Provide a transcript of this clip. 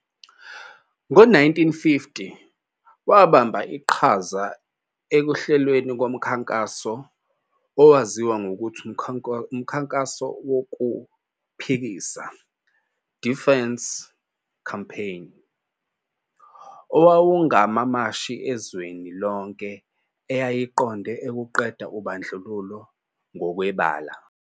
Ngo-1950 wabamba iqhaza ekuhlelweni womkhankaso owaziwa ngokuthi umKhankaso woKuphikisa, "Defiance Campaign", owawungamamashi ezweni lonke eyayiqonde ukuqeda ubandlululo ngokwebala.